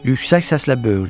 Yüksək səslə böyürdü.